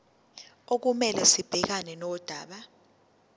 okumele sibhekane nodaba